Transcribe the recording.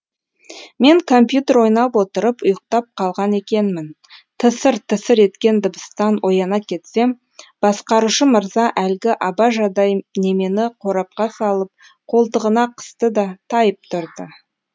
мен компьютер ойнап отырып ұйықтап қалған екенмін тысыр тысыр еткен дыбыстан ояна кетсем басқарушы мырза әлгі абажадай немені қорапқа салып қолтығына қысты да тайып тұрды